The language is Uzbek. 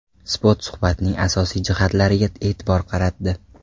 Spot suhbatning asosiy jihatlariga e’tibor qaratdi .